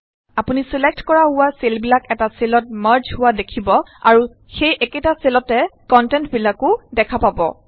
আপুনি ছিলেক্ট কৰা হোৱা চেলবিলাক এটা চেলত মাৰ্জ হোৱা দেখিব আৰু সেই একেটা চেলতে কন্টেন্টবিলাক ও দেখা পাব